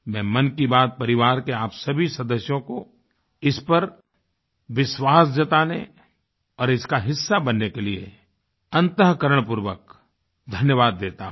मैं मन की बात परिवार के आप सभी सदस्यों को इस पर विश्वास जताने और इसका हिस्सा बनने के लिये अंतःकरणपूर्वक धन्यवाद देता हूँ